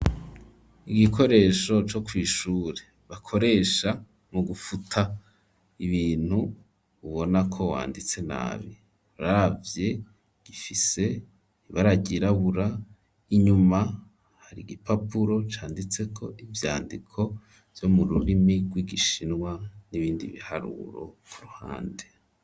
igikoresho co kw'ishure bakoresha mu gufuta ibintu ubona ko wanditse nabi, uravye gifise ibara ryirabura inyuma hari igipapuro canditseko ivyandiko vyo mu rurimi rw'igishinwa n'ibindi biharuro ku ruhande.